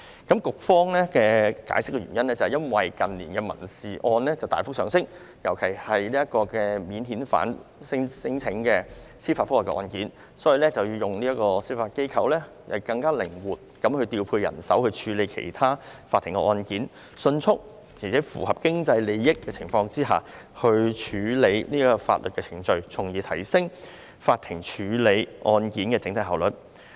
局方的解釋是，因為近年民事案件大幅上升，尤其是免遣返聲請的司法覆核案件，司法機構可更靈活地調配人手處理其他法庭案件，迅速並在合乎經濟效益的情況下處理法律程序，從而提升法庭處理案件的整體效率。